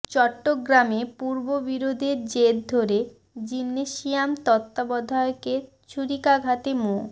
চট্টগ্রামে পূর্ব বিরোধের জের ধরে জিমনেসিয়াম তত্ত্বাবধায়কের ছুরিকাঘাতে মো